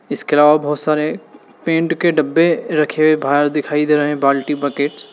इसके अलावा बहुत सारे पेंट के डब्बे रखे हुए बाहर दिखाई दे रहे हैं बाल्टी बकेट्स ।